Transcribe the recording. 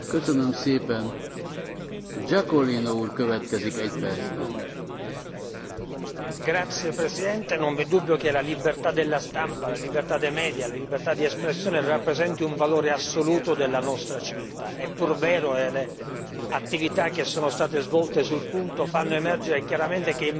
Signor Presidente, onorevoli colleghi, non v'è dubbio che la libertà della stampa, la libertà dei media, la libertà di espressione rappresenti un valore assoluto della nostra civiltà. È pur vero, le attività che sono state svolte sul punto fanno emergere chiaramente che in molte realtà, talvolta non lontane